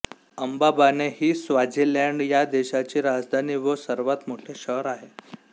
Mbabane ही Swaziland ह्या देशाची राजधानी व सर्वात मोठे शहर आहे